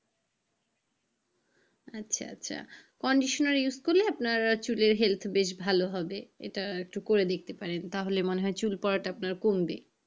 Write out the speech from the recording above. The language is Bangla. আচ্ছা আচ্ছা কন্ডিশনার use করলে আপনার চুলের health বেশ ভালো হবে এটা একটু করে দেখতে পারেন তাহলে মনে হয় চুল পরাটা আপনার একটু কমবে।